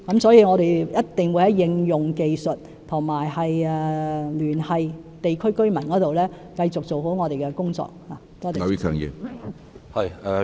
所以，我們一定會在應用技術和聯繫地區居民方面繼續做好我們的工作。